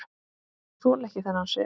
Þoli ekki þennan svip.